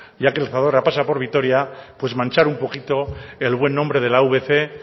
ya que el zadorra pasa por vitoria pues manchar un poquito el buen nombre de la avc